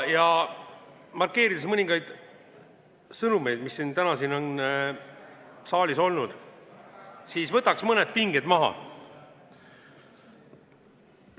Ja markeerides mõningaid sõnumeid, mis täna siin saalis on kõlanud, siis võtaksin mõned pinged maha.